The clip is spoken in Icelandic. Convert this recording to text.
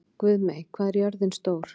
Guðmey, hvað er jörðin stór?